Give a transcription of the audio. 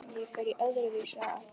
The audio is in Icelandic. Ég færi öðru vísi að.